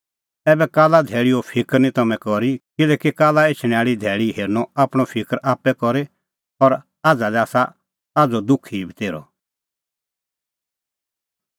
ऐबै काल्ला धैल़ीओ फिकर निं तम्हैं करी किल्हैकि काल्ला एछणैं आल़ी धैल़ी हेरनअ आपणअ फिकर आप्पै करी और आझ़ा लै आसा आझ़ो दुख ई बतेर्हअ